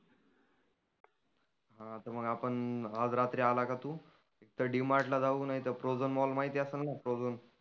हा तर मग आपण आज रात्री आला की तु तर डी मार्टला जाऊ. पुन्हा इथंं प्रोझोन मॉल माहिती आसनं ना? प्रोझोन